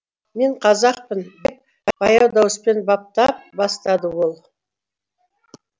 мен қазақпын деп баяу дауыспен баптап бастады ол